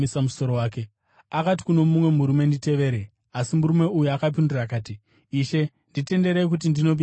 Akati kuno mumwe murume, “Nditevere.” Asi murume uyu akapindura akati, “Ishe, nditenderei kuti ndinoviga baba vangu.”